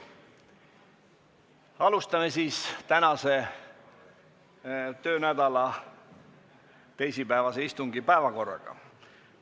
Alustame tööd selle töönädala teisipäevase istungi päevakorra punktidega.